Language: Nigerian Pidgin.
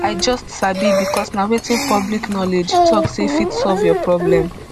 i just sabi becos na wetin public knowledge tok say fit solve your problem